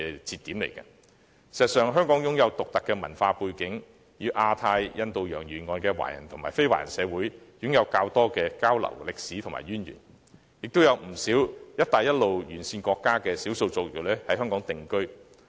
事實上，香港擁有獨特的文化背景，與亞太地區及印度洋沿岸的華人和非華人社會有較多交流及歷史淵源，也有不少"一帶一路"沿線國家的少數族裔現於香港定居。